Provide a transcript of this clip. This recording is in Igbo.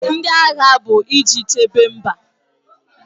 Ndị agha bụ iji chebe mba.